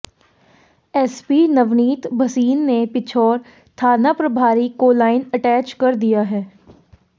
SP Navneet Bhasin ने पिछोर थाना प्रभारी को लाइन अटैच कर दिया है